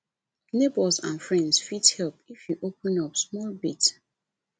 neighbours and friends fit support if you open up small bit